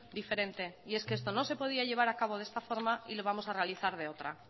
diferente y es que esto no se podía llevar a cabo de esta forma y lo vamos a realizar de otra